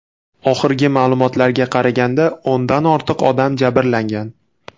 Oxirgi ma’lumotlarga qaraganda, o‘ndan ortiq odam jabrlangan.